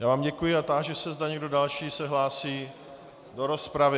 Já vám děkuji a táži se, zda někdo další se hlásí do rozpravy.